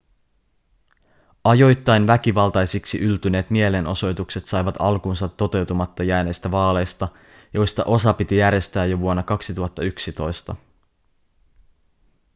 ajoittain väkivaltaisiksi yltyneet mielenosoitukset saivat alkunsa toteutumatta jääneistä vaaleista joista osa piti järjestää jo vuonna 2011